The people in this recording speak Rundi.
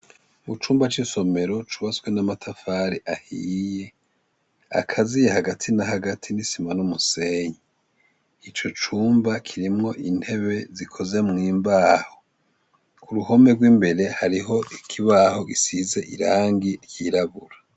Mucumba cisomero cubatwe 'amatafari ahiye akaziye hagati n'isima numusenyi. Ico cumba kirimwo intebe zikozwe mumbahi hariho ikibaho gisize irangi ryirabura.